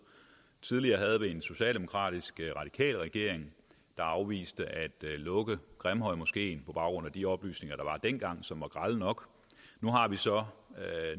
tidligere havde vi en socialdemokratisk radikal regering der afviste at lukke grimhøjmoskeen på baggrund af de oplysninger der var dengang og som var grelle nok nu har vi så